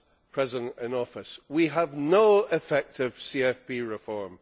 President in Office, we have no effective CFP reform.